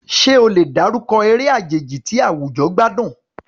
Ṣé o lè dárúkọ eré àjèjì tí àwùjọ gbádùn?